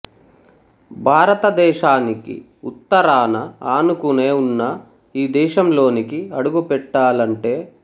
భారత దేశానికి ఉత్తరాన ఆనుకునే ఉన్న ఈ దేశంలోనికి అడుగు పెట్టాలంటే